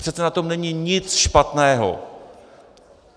Přece na tom není nic špatného.